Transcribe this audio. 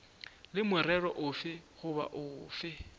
le morero ofe goba ofe